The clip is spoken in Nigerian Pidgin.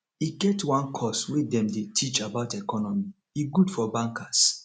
e get one course way dem dy teach about economy e good for bankers